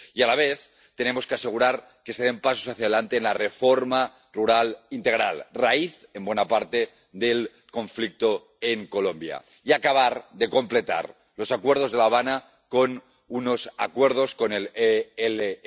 Y a la vez, tenemos que asegurar que se den pasos hacia adelante en la reforma rural integral, raíz en buena parte del conflicto en Colombia, y acabar de completar los acuerdos de La Habana con unos acuerdos con el ELN.